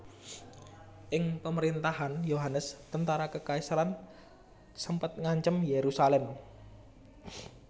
Ing pamerintahan Yohanes tentara kekaisaran sempet ngancem Yerusalem